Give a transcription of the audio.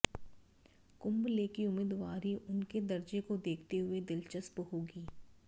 कुंबले की उम्मीदवारी उनके दर्जे को देखते हुए दिलचस्प होगी